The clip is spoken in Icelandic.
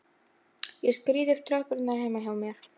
Ég skríð upp tröppurnar heima hjá mér.